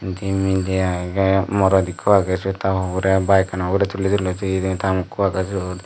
indi miley agey morot ikko agey siyot ta poborey bayekkano ugurey tuli tuloi toyedey ta mokko agey siyot.